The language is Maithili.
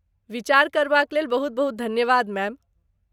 विचार करबाक लेल बहुत बहुत धन्यवाद मैम।